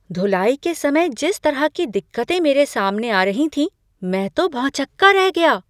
धुलाई के समय जिस तरह की दिक्कतें मेरे सामने आ रही थीं, मैं तो भौचक्का रह गया।